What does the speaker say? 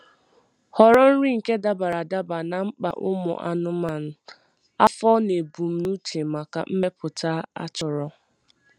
Họrọ nri nke dabara adaba na mkpa ụmụ anụmanụ, afọ na ebumnuche maka mmepụta a chọrọ